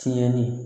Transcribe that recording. Tiɲɛni